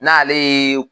N'ale ye